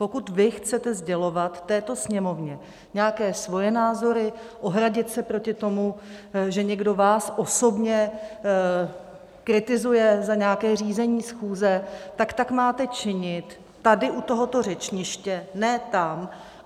Pokud vy chcete sdělovat této Sněmovně nějaké svoje názory, ohradit se proti tomu, že někdo vás osobně kritizuje za nějaké řízení schůze, tak tak máte činit tady u tohoto řečniště, ne tam.